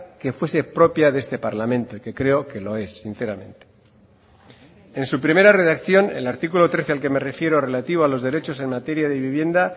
que fuese propia de este parlamento que creo que lo es sinceramente en su primera redacción el artículo trece al que me refiero relativo a los derechos en materia de vivienda